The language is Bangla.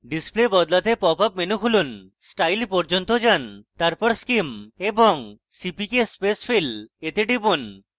display বদলাতে popup menu খুলুন style পর্যন্ত যান তারপর scheme এবং cpk spacefill এ টিপুন